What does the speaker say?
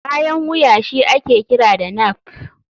Bayan wuya shi ake kira da nape.